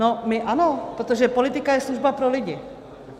No, my ano, protože politika je služba pro lidi.